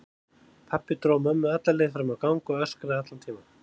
Pabbi dró mömmu alla leið fram á gang og öskraði allan tímann.